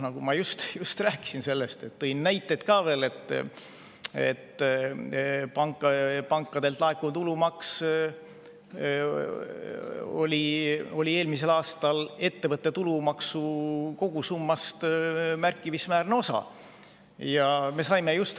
Nagu ma just rääkisin ja tõin näiteid ka veel, pankadelt laekuv tulumaks oli eelmisel aastal märkimisväärne osa ettevõtte tulumaksu kogusummast.